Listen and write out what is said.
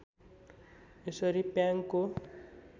यसरी प्याङको